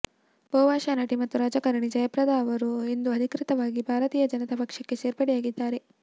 ಬಹುಭಾಷಾ ನಟಿ ಮತ್ತು ರಾಜಕಾರಣಿ ಜಯಪ್ರದಾ ಅವರು ಇಂದು ಅಧಿಕೃತವಾಗಿ ಭಾರತೀಯ ಜನತಾ ಪಕ್ಷಕ್ಕೆ ಸೇರ್ಪಡೆಯಾಗಿದ್ದಾರೆ